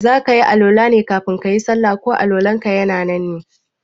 zakayi Al-Wala ne kafin kayi sallah ko Al- walanka ya nan ne?